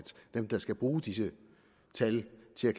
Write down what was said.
dem der skal bruge disse tal til